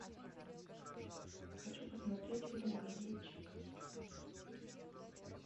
хочу посмотреть фильм газетчик